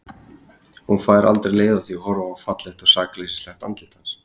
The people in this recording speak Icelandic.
Hún fær aldrei leið á því að horfa á fallegt og sakleysislegt andlit hans.